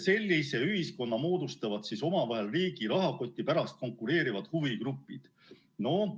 Sellise ühiskonna moodustavad omavahel riigi rahakoti pärast konkureerivad huvigrupid.